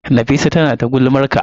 Nafisa tana ta gulmar ka.